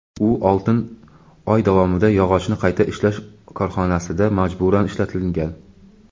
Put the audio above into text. U oltin oy davomida yog‘ochni qayta ishlash korxonasida majburan ishlatilgan.